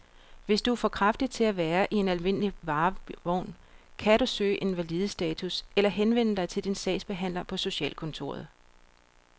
Hvis du er for kraftig til at være i en almindelig varevogn, kan du kan søge invalidestatus eller henvende dig til din sagsbehandler på socialkontoret.